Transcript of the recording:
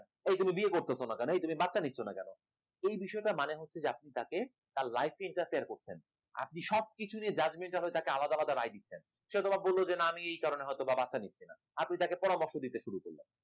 এই তুমি বিয়ে করতেছ না কেন? এই তুমি বাচ্চা নিচ্ছ না কেন? এই বিষয়টার মানে হচ্ছে যে আপনি তাকে তার life কে interfere করছেন, আপনি সবকিছু নিয়ে judgemental হয়ে থাকে আলাদা আলাদা রায় দিচ্ছেন, সেও বা বলল যে না আমি এই কারণে হয়তো বা বাচ্চা নিচ্ছি না আপনি তাকে পরামর্শ দিতে শুরু করলেন